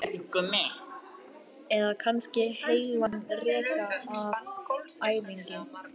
eða kannski heilan rekka af áfengi?